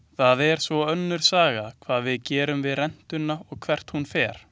Það er svo önnur saga hvað við gerum við rentuna og hvert hún fer.